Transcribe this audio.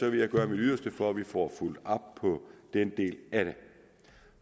jeg gøre mit yderste for at vi får fulgt op på den del af det